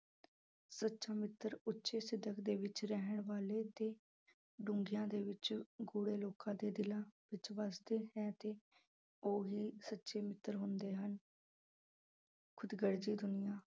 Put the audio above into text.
ਸੱਚਾ ਮਿੱਤਰ ਉੱਚੇ ਸਿੱਦਕ ਦੇ ਵਿੱਚ ਰਹਿਣ ਵਾਲੇ ਅਤੇ ਡੂੰਘਿਆਂ ਦੇ ਵਿੱਚ ਗੂੜੇ ਲੋਕਾਂ ਦੇ ਦਿਲਾਂ ਵਿੱਚ ਵਸਦੇ ਹੈ ਤੇ ਉਹੀ ਸੱਚੇ ਮਿੱਤਰ ਹੁੰਦੇ ਹਨ ਖੁਦਗਰਜ਼ੀ ਦੁਨੀਆਂ